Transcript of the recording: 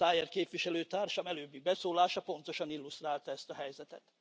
Szájer képviselőtársam előbbi beszólása pontosan illusztrálta ezt a helyzetet.